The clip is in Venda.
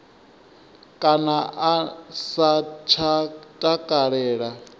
kana a sa tsha takalela